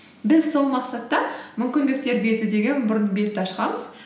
біз сол мақсатта мүмкіндіктер беті деген бұрын бетті ашқанбыз